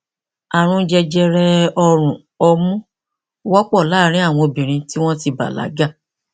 ààrùn jẹjẹrẹ ọrùn ọmú wọpọ láàárín àwọn obìnrin tí wọn ti bàlágà